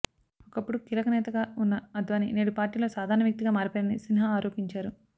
ఒకప్పుడు కీలకనేతగా ఉన్న అద్వాని నేడు పార్టీలో సాధారణ వ్యక్తిగా మారిపోయారని సిన్హా ఆరోపించారు